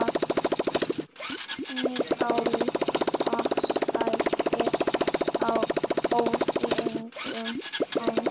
Njála segir frá örlögum hans.